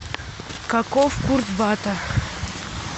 каков курс бата